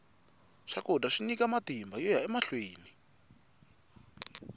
swakudya swi nyika matimba yoya emahlweni